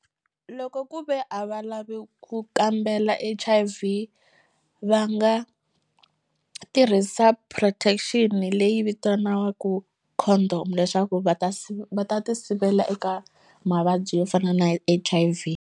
Loko ku ve a va lavi ku kambela H_I_V va nga tirhisa protection leyi vitaniwaku condom leswaku va ta va ta tisivela eka mavabyi yo fana na H_I_V.